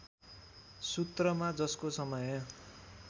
सूत्रमा जसको समय